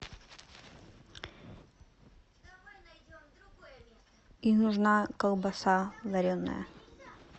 и нужна колбаса вареная